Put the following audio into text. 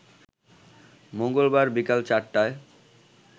মঙ্গলবার বিকাল ৪টায়